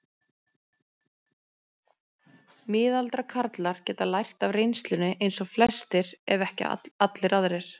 Miðaldra karlar geta lært af reynslunni eins og flestir ef ekki allir aðrir.